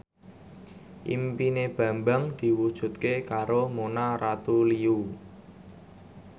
impine Bambang diwujudke karo Mona Ratuliu